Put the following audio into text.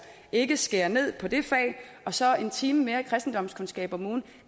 ikke skærer ned på det fag og så en time mere i kristendomskundskab om ugen